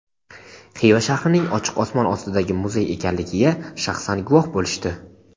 Xiva shahrining "Ochiq osmon ostidagi muzey" ekanligiga shaxsan guvoh bo‘lishdi.